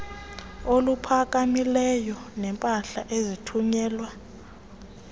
oluphakamileyo neempahla ezithunyelwa